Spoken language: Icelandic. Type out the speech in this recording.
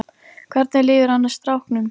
Hvernig líður annars stráknum?